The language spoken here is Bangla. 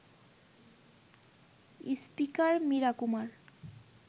স্পিকার মীরা কুমার